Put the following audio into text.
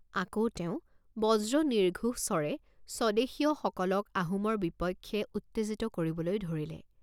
আকৌ তেওঁ বজ্ৰনিৰ্ঘোষ স্বৰে স্বদেশীয়সকলক আহোমৰ বিপক্ষে উত্তেজিত কৰিবলৈ ধৰিলে।